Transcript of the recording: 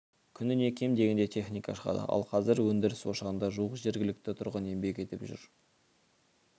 күніне кем дегенде техника шығады ал қазір өндіріс ошағында жуық жергілікті тұрғын еңбек етіп жүр